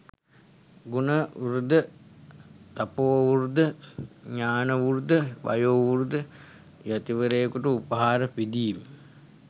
ගුණ වෘද්ධ, තපෝවෘද්ධ, ඥානවෘද්ධ, වයෝ වෘද්ධ, යතිවරයෙකුට උපහාර පිදීම